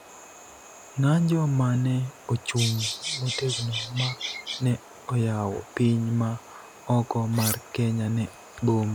ng�anjo ma ne ochung� motegno ma ne oyawo piny ma oko mar Kenya ne bombe